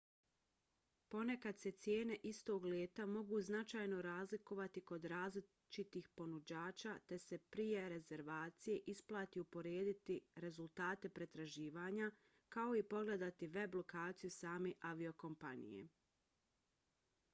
ponekad se cijene istog leta mogu značajno razlikovati kod različitih ponuđača te se prije rezervacije isplati uporediti rezultate pretraživanja kao i pogledati web lokaciju same aviokompanije